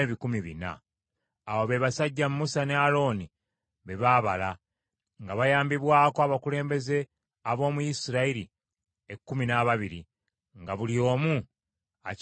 Abo be basajja Musa ne Alooni be baabala, nga bayambibwako abakulembeze ab’omu Isirayiri ekkumi n’ababiri, nga buli omu akiikiridde ekika kye.